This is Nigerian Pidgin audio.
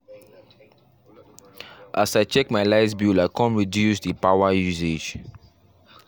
as i check my light bill i come reduce the power usage